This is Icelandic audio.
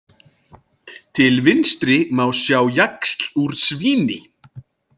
Til vinstri má sá jaxl úr svíni.